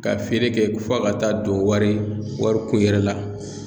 Ka feere kɛ f'a ka taa don wari warikun yɛrɛ la.